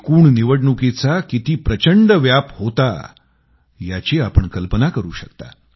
एकूण निवडणुकीचा किती प्रचंड व्याप होता याची आपण कल्पना करू शकता